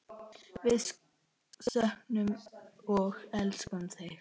Við söknum og elskum þig.